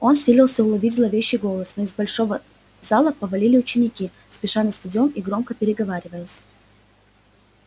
он силился уловить зловещий голос но из большого зала повалили ученики спеша на стадион и громко переговариваясь